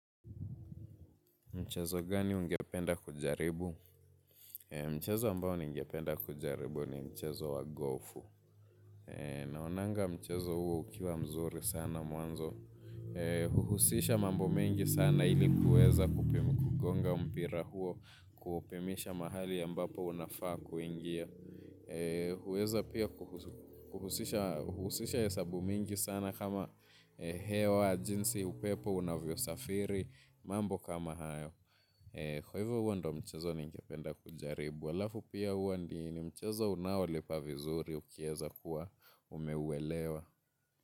Mchezo gani ungependa kujaribu? Mchezo ambao ningependa kujaribu ni mchezo wa gofu. Naonanga mchezo huo ukiwa mzuri sana mwanzo. Huhusisha mambo mengi sana ili kueza kupima kugonga mpira huo, kuupimisha mahali ambapo unafaa kuingia. Hueza pia kuhusisha hesabu mingi sana kama hewa wa jinsi upepo, unavyo safiri, mambo kama hayo. Kwa hivyo huo ndo mchezo ningependa kujaribu. Alafu pia huwa ndi ni mchezo unaowalipa vizuri ukieza kuwa umeuelewa.